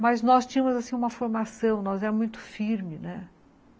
Mas nós tínhamos uma formação, nós éramos muito firmes.